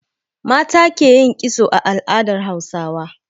Mata ke yin kitso a al'adar Hausawa.